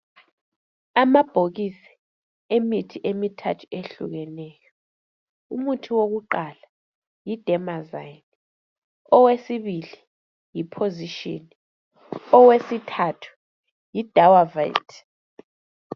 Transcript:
Amabhokisi emithi emithathu ehlukeneyo . Umuthi wokuqala yi Dermazine, owesibili yi position owesithathu yi dawavate.